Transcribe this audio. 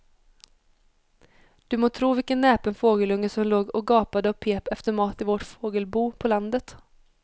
Du må tro vilken näpen fågelunge som låg och gapade och pep efter mat i vårt fågelbo på landet.